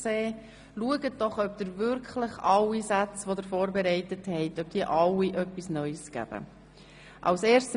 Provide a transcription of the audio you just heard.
Überlegen Sie sich gut, ob wirklich alle Sätze, die Sie vorbereitet haben, neue Informationen beinhalten.